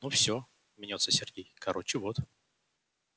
ну всё мнётся сергей короче вот